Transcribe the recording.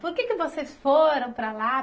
Por que vocês foram para lá?